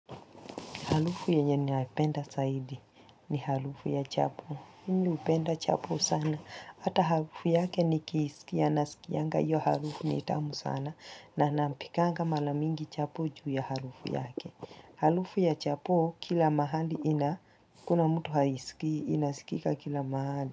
Halufu yenye ni haipenda saidi. Ni halufu ya chapo. Hini upenda chapo sana. Ata halufu yake ni kisikia na sikia nga. Iyo halufu nitamu sana. Na nampikanga mara mingi chapo juu ya halufu yake. Halufu ya chapu kila mahali ina. Kuna mtu haisikia. Inasikika kila mahali.